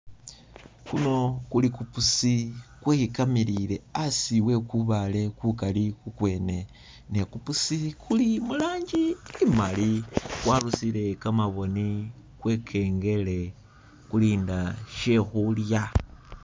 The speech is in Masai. Kuno kuli ku pussy kwekamilile khasi e kubaale kukali kukwene, ne ku pussy kuli mulangi i'maali kwarusile kamabooni kwekengele kulinda sye khulya